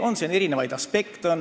Mängus on erinevaid aspekte.